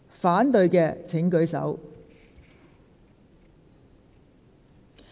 反對的請舉手。